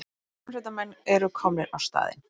Björgunarsveitarmenn eru komnir á staðinn